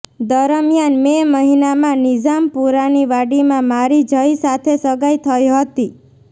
દરમિયાન મે મહિનામાં નિઝામપુરાની વાડીમાં મારી જય સાથે સગાઈ થઈ હતી